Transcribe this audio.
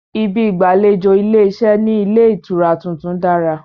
Ibi ìgbàlejò ilé-iṣẹ́ ní ilé ìtura tuntun dára